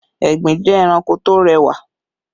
Egbin jẹ́ ẹranko tó rẹwà